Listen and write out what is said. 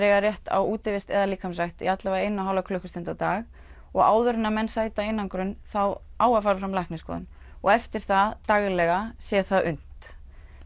eiga rétt á útivist eða líkamsrækt í allavega eina og hálfa klukkustund á dag og áður en menn sæta einangrun á að fara fram læknisskoðun og eftir það daglega sé það unnt